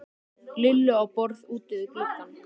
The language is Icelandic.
Lillu á borð úti við gluggann.